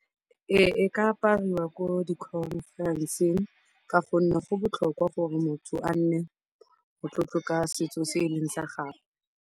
Ee, ka apariwa ko di-conference-eng ka gonne go botlhokwa gore motho a nne o tlo tloka setso se e leng sa gagwe.